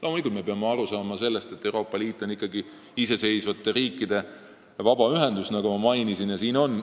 Loomulikult me peame aru saama sellest, et Euroopa Liit on ikkagi iseseisvate riikide vabaühendus, nagu ma mainisin.